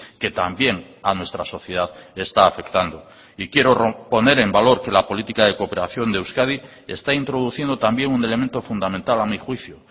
que también a nuestra sociedad está afectando y quiero poner en valor que la política de cooperación de euskadi está introduciendo también un elemento fundamental a mi juicio